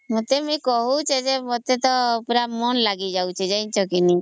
ତତେ କହୁଚ ଏଜେ ମତେ ମନ ଲାଗିଯାଉଛି